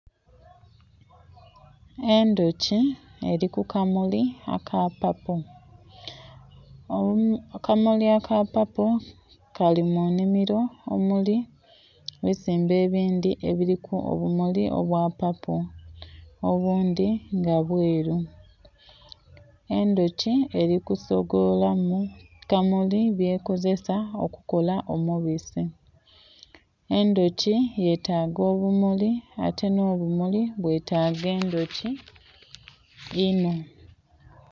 Endhuki eri kukamuli aka papo, akamuli aka papo kali munhimiro omuli ebisimbe ebindhi ebiliku obumuli obwa papo obundhi nga bwelu. Endhuki eli kusokola mukamuli byekozesa okukola omubisi, endhuki yetaga obumuli ate nho bumuli bwetaga endhuki inho.